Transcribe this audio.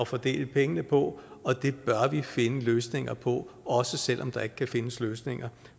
fordele pengene på og det bør vi finde løsninger på også selv om der ikke kan findes løsninger